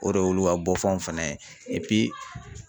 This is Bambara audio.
O de y'olu ka bɔfanw fana ye